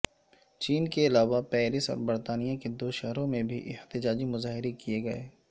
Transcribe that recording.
چین کے علاوہ پیرس اور برطانیہ کے دو شہروں میں بھی احتجاجی مظاہرے کیے گیے